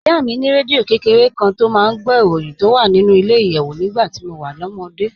Ìyá mi ní rédíò kékeré kan tó máa ń gbọ́ ìròyìn tó wà nínú ilẹ̀-ìyẹ̀wù nígbà tí mo wà lọ́mọdé